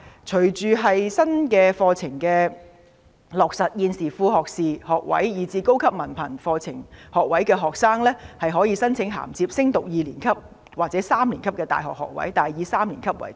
隨着新的課程落實，現時副學士學位及高級文憑課程學位學生，可以申請銜接升讀大學二年級或三年級的學位，但以三年級為多。